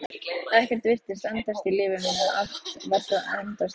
Ekkert virtist endast í lífi mínu, allt var svo endasleppt.